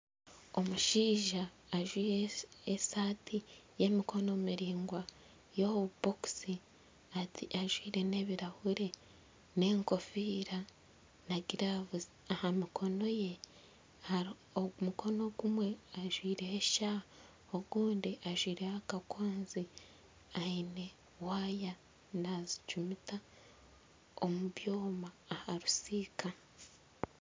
Omushaija ajwaire esaati y'emikono miraingwa y'obubokisi ajwaire n'ebirahuri n'enkofiira na giravuzi aha mikono ye. Hari omu mukono ogumwe ajwaire eshaaha ogundi ajwaireho akakwanzi aine waaya nazicumita omu byoma aha rusiika.